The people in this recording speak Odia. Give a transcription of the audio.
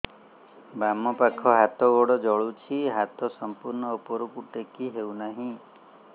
ବାମପାଖ ହାତ ଗୋଡ଼ ଜଳୁଛି ହାତ ସଂପୂର୍ଣ୍ଣ ଉପରକୁ ଟେକି ହେଉନାହିଁ